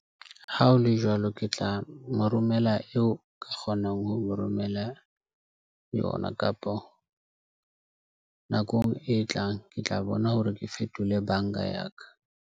Ha ho le jwalo, ke tla mo romela eo ka kgonang ho mo romela yona kapo, nakong e tlang. Ke tla bona hore ke fetole banka ya ka.